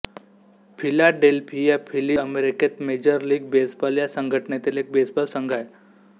Philadelphia Phillies ही अमेरिकेत major league baseball या संघटनेतील एक बेसबॉल संघ आहे